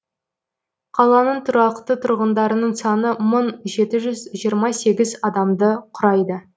қаланың тұрақты тұрғындарының саны мың жеті жүз жиырма сегіз адамды құрайды